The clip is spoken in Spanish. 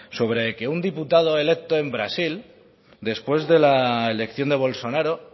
sobre que un diputado electo en brasil después de la elección de bolsonaro